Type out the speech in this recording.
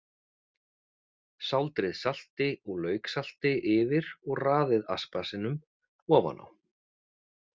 Sáldrið salti og lauksalti yfir og raðið aspasinum ofan á.